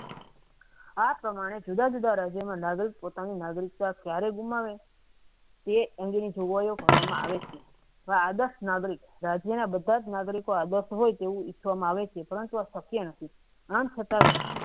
આ પ્રમાણે જુદા જુદા રાજ્યોને નાગરિક પોતાની નાગરિકતા ક્યારે ગુમાવે તે અંગે ની ધુંવાડેઓ કરવા માં આવે છે જે આદર્શ નાગરિક જેના બધાજ નાગરિકો આદર્શ હોય તેવું ઈચવામાં આવે છે પરંતુ અત્યંત આમ છતાં